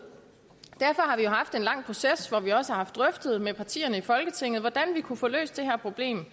derfor har vi jo haft en lang proces hvor vi også har haft drøftet med partierne i folketinget hvordan vi kunne få løst det her problem